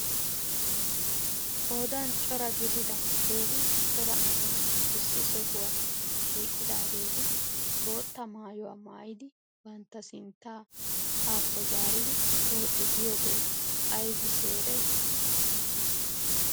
qoodan cora gidida keehi cora asay issi sohuwa shiqqidageeti botta maayuwa maayidi bantta sintta hakko zariiddi pooccuu giyoogee aybisee ereeti?